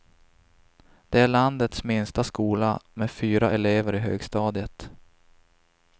Det är landets minsta skola, med fyra elever i högstadiet.